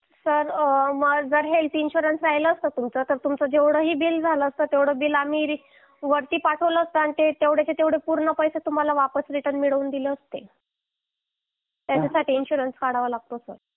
sir जर health insurance असतं तुमचं तर आम्ही जेवढे तुमचे बिल झाले तेवढे सगळे बिल आम्ही वरती पाठविला असतं आणि ते तेवढेच तेवढे पैसे आम्ही तुम्हाला वापस रिटर्न मिळवून दिले असते